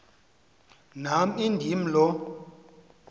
nam indim lo